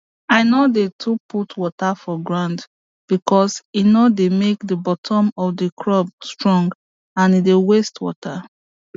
i no dey too put water for ground because e no dey make the bottom of the crop strong and e dey waste water